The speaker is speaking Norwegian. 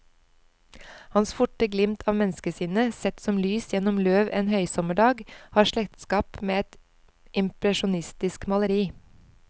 Hans forte glimt av menneskesinnet, sett som lys gjennom løv en høysommerdag, har slektskap med et impresjonistisk maleri.